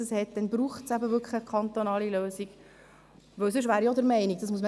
Ich habe einen 17-Jährigen geschickt, diese Dinge einzukaufen.